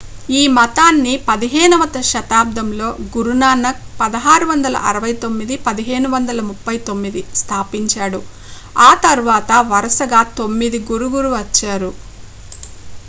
ఈ మతాన్ని 15వ శతాబ్దంలో గురునానక్ 1469-1539 స్థాపించాడు ఆ తర్వాత వరుసగా తొమ్మిది గురుగురు వచ్చారు